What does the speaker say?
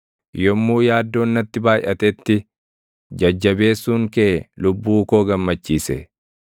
Yommuu yaaddoon natti baayʼatetti, jajjabeessuun kee lubbuu koo gammachiise.